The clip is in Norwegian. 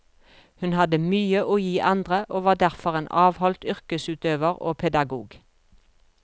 Hun hadde mye å gi andre, og var derfor en avholdt yrkesutøver og pedagog.